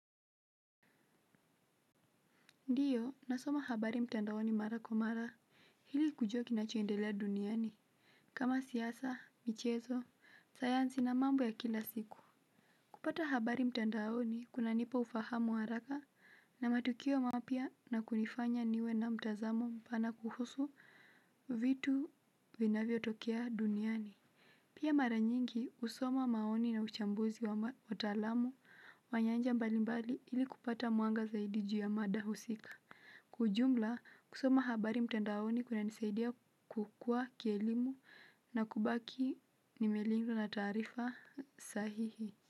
Ndio nasoma habari mtandaoni mara kwa mara ili kujua kinacho endelea duniani kama siasa, michezo, sayansi na mambo ya kila siku kupata habari mtandaoni kuna nipa ufahamu wa haraka na matukio mapya na kunifanya niwe na mtazamo mpana kuhusu vitu vinavyo tokea duniani. Pia mara nyingi husoma maoni na uchambuzi wa watalamu wa nyanja mbali mbali ili kupata mwanga zaidi juu ya mada husika kwa ujumla, kusoma habari mtandaoni kuna nisaidia kukua kielimu na kubaki nimelizwa na taarifa sahihi.